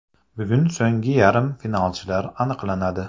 Bugun so‘nggi yarim finalchilar aniqlanadi.